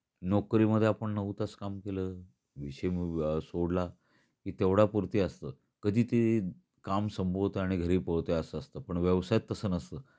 नोकरीमध्ये आपण नऊ तास काम केल. विषय मी सोडला की तेवढय़ा पुरती असत. कधी ते काम संपवतो आणि घरी पळतो अस असत. पण व्यवसायत तस नसत.